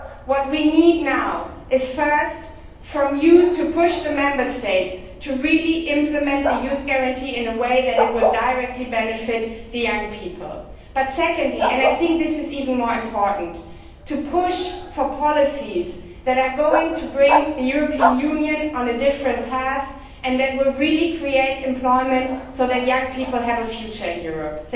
What we need now is, first, for you to push the Member States to really implement the Youth Guarantee in a way that will directly benefit young people, but secondly and I think this is even more important to push for policies that are going to take the European Union on a different path and that will really create employment so that young people have a future in Europe.